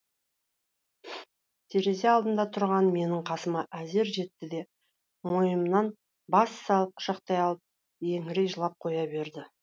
терезе алдында тұрған менің қасыма әзер жетті де мойнымнан бас салып құшақтай алып еңірей жылап қоя берді